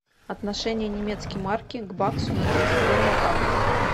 отношение немецкой марки к баксу на тридцать первое августа